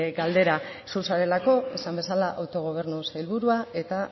galdera zu zarelako esan bezala autogobernu sailburua eta